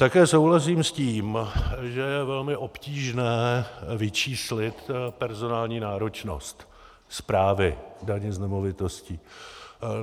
Také souhlasím s tím, že je velmi obtížné vyčíslit personální náročnost správy daně z nemovitostí.